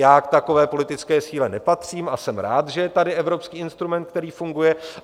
Já k takové politické síle nepatřím a jsem rád, že je tady evropský instrument, který funguje.